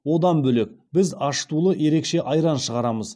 одан бөлек біз ашытылуы ерекше айран шығарамыз